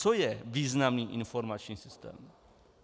Co je významný informační systém?